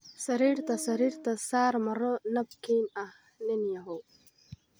Sariirta sariirta saar maro nabkin ah, nin yahow.